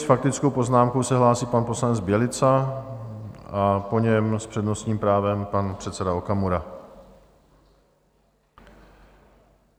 S faktickou poznámkou se hlásí pan poslanec Bělica a po něm s přednostním právem pan předseda Okamura.